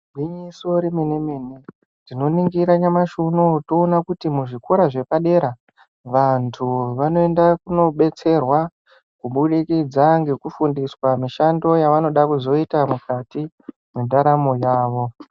gwinyiso remene mene tinoningira nyamashi uno uyu toona kuti muzvikora zvepadera vantu vanoenda kunobetserwa kubudikidza ngekufundiswa mishando yavanoda kuzoita mukati mendaramo yavo .